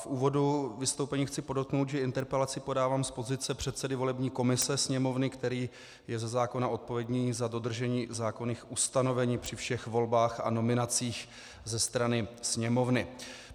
V úvodu vystoupení chci podotknout, že interpelaci podávám z pozice předsedy volební komise Sněmovny, který je ze zákona odpovědný za dodržení zákonných ustanovení při všech volbách a nominacích ze strany Sněmovny.